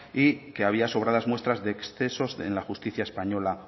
y que había sobradas muestras de excesos en la justicia española